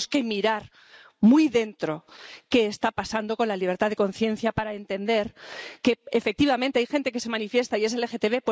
Tenemos que mirar, muy dentro, qué está pasando con la libertad de conciencia para entender que, efectivamente, hay gente que se manifiesta y es LGTB.